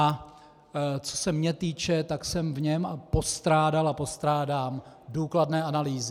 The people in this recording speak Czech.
A co se mě týče, tak jsem v něm postrádal a postrádám důkladné analýzy.